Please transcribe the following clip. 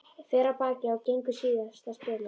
Fer af baki og gengur síðasta spölinn.